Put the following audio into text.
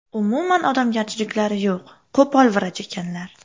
Umuman odamgarchiliklari yo‘q, qo‘pol vrach ekanlar.